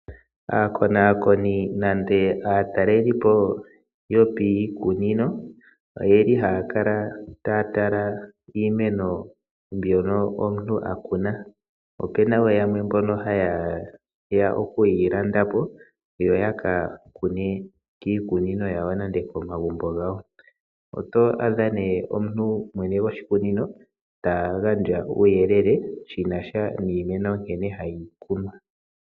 Aakonakoni nenge aataleli yopiikunino ohaatala nokukonakona iimeno ndjoka omuntu akuna, nayamwe ohaalanda po iimeno mbika opo yekeyitsike komagumbo nenge miikunino yawo. Omunikunino ohakala ta gandja uuyelele nkene hakunu nokusila oshimpwiyu iimeno ye.